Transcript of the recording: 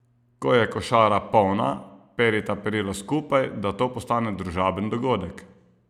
Ko je košara polna, perita perilo skupaj, da to postane družaben dogodek.